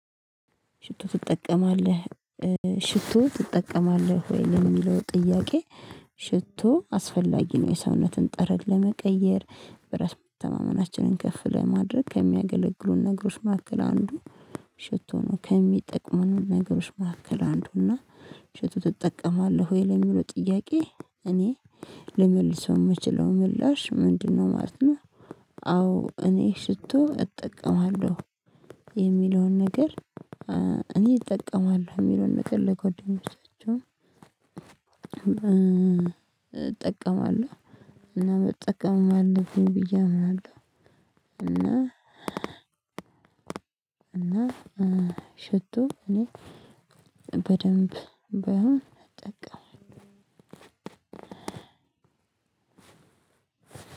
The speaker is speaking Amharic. ሽቶ ትጠቀማለህ ትጠቀማለህ ወይ ለሚለው ጥያቄ? ሽቶ አስፈላጊ ነው የሰውነትን ጠረን ለመቀየር በራስ መተማመናችንን ከፍ ለማድረግ ከሚያገለግሉን ነገሮች መካከል አንዱ። ሽቶ ነው ከሚጠቅሙን ነገሮች መካከል አንዱ እና። ሽቶ ትጠቀማለህ ወይ ለሚለው ጥያቄ? እኔ ልመልሰው የምችለው ምላሽ ምንድነው ማለት ነው። አዎ እኔ ሽቶ እጠቀማለሁ የሚለውን ነገር። እኔ እጠቀማለሁ የሚለውን ነገር ለጎድኝኞቼ ብቻቸውን እጠቀማለሁ። እና መጠቀምም ብዬ አምናለሁ። እና እና ሽቶ እኔ በደንብ ባይሆን